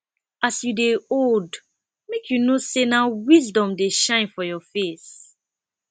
as you dey old make you know sey na wisdom dey shine for your face